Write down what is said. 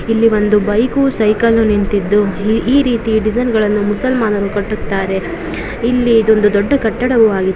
ಇಲ್ಲಿ ಒಂದು bike cycle ನಿಂತಿದ್ದು ಈ ರೀತೆ ಡಿಸೈನ್ ಗಳು ಮುಸಲ್ಮಾನರು ಕಟ್ಟುತ್ತಾರೆ ಇಲ್ಲಿ ಇದು ಒಂದು ದೊಡ್ಡ ಕಟ್ಟಡ ವಾಗಿ --